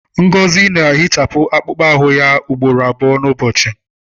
Ngozi na-ehichapụ akpụkpọ ahụ ya ugboro abụọ n'ụbọchị.